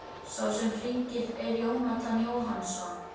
Sá sem hringir er Jónatan Jóhannsson.